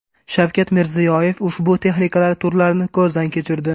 Shavkat Mirziyoyev ushbu texnikalar turlarini ko‘zdan kechirdi.